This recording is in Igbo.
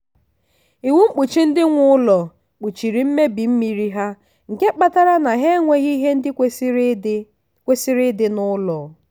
iwu mkpuchi ndị nwe ụlọ kpuchiri mmebi mmiri ha nke kpatara na ha enweghị ihe ndị kwesịrị ịdị kwesịrị ịdị n'ụlọ